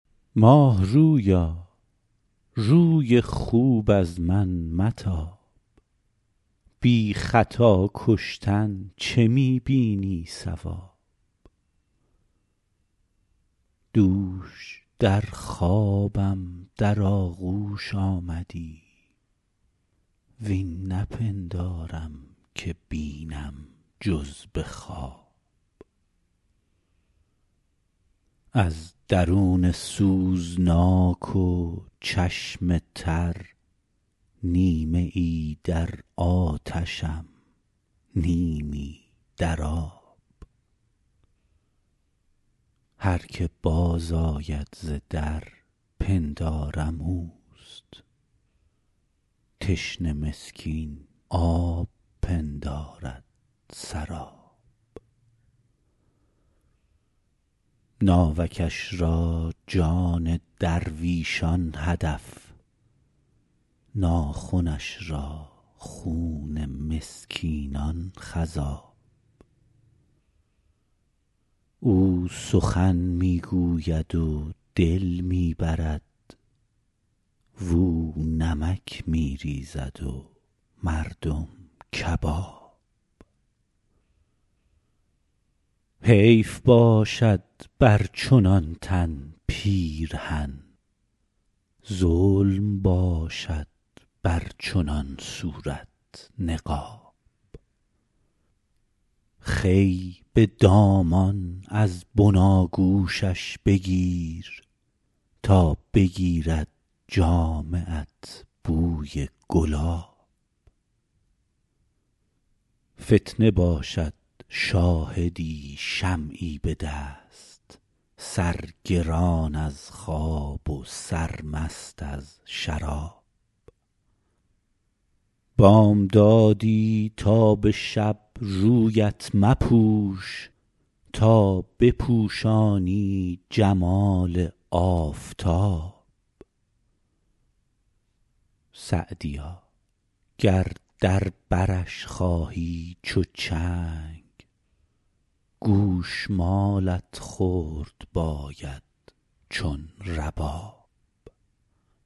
ماه رویا روی خوب از من متاب بی خطا کشتن چه می بینی صواب دوش در خوابم در آغوش آمدی وین نپندارم که بینم جز به خواب از درون سوزناک و چشم تر نیمه ای در آتشم نیمی در آب هر که باز آید ز در پندارم اوست تشنه مسکین آب پندارد سراب ناوکش را جان درویشان هدف ناخنش را خون مسکینان خضاب او سخن می گوید و دل می برد واو نمک می ریزد و مردم کباب حیف باشد بر چنان تن پیرهن ظلم باشد بر چنان صورت نقاب خوی به دامان از بناگوشش بگیر تا بگیرد جامه ات بوی گلاب فتنه باشد شاهدی شمعی به دست سرگران از خواب و سرمست از شراب بامدادی تا به شب رویت مپوش تا بپوشانی جمال آفتاب سعدیا گر در برش خواهی چو چنگ گوش مالت خورد باید چون رباب